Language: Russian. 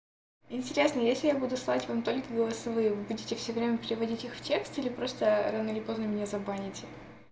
интересно если я буду слать вам только голосовые вы будете все время переводить их в тексте или просто рано или поздно меня забаните